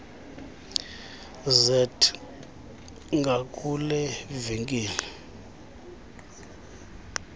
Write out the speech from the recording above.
zet ngakule venkile